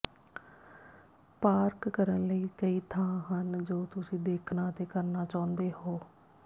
park ਕਰਨ ਲਈ ਕਈ ਥਾਂ ਹਨ ਜੋ ਤੁਸੀਂ ਦੇਖਣਾ ਅਤੇ ਕਰਨਾ ਚਾਹੁੰਦੇ ਹੋ